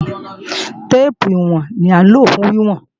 Téèpù ìwọ̀n ni à ń lò fún wíwọ̀n